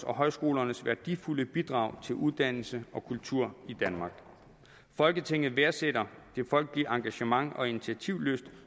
og højskolernes værdifulde bidrag til uddannelse og kultur i danmark folketinget værdsætter det folkelige engagement og initiativlyst